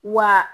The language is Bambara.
Wa